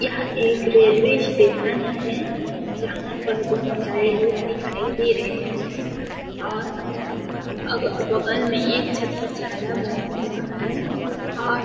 यह एक railway station है जहाँ पर बहुत सारे लोग दिखाई दे रहें है और अग बगल में एक छत्रछाया बना हुआ है और--